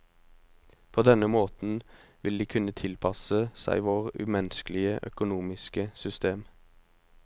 På denne måten vil de kunne tilpasse seg vårt umenneskelige økonomiske system.